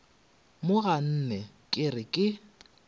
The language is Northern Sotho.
mo ganne ke re ke